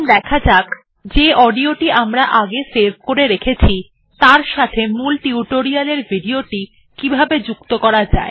এখন দেখা যাক যে অডিও টি আমরা আগে সেভ করে রেখেছি তার সাথে মূল টিউটোরিয়ালের ভিডিও টি কিভাবে যুক্ত করা যায়